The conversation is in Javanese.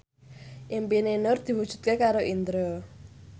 impine Nur diwujudke karo Indro